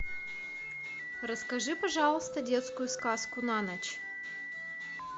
расскажи пожалуйста детскую сказку на ночь